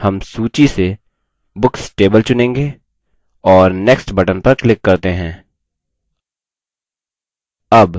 हम सूची से books table चुनेंगे और next button पर click करते हैं